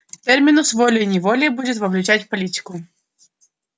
терминус волей-неволей будет вовлечать в политику